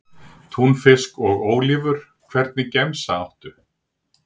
Túnfisk og ólívur Hvernig gemsa áttu?